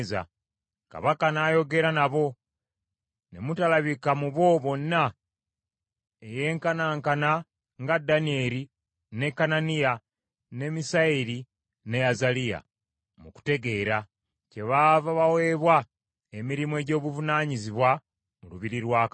Kabaka n’ayogera nabo, ne mutalabika mu bo bonna eyenkanaankana nga Danyeri, ne Kananiya, ne Misayeri ne Azaliya mu kutegeera; kyebaava baweebwa emirimu egy’obuvunaanyizibwa mu lubiri lwa kabaka.